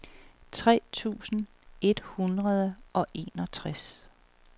tre tusind et hundrede og enogtres